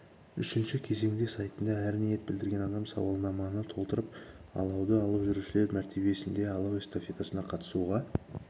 үшінші кезеңде сайтында әр ниет білдірген адам сауалнаманы толтырып алауды алып жүрушілер мәртебесінде алау эстафетасына қатысуға